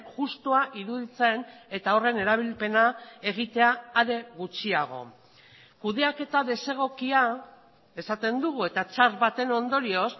justua iruditzen eta horren erabilpena egitea are gutxiago kudeaketa desegokia esaten dugu eta txar baten ondorioz